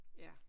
Ja